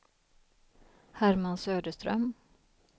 Herman Söderström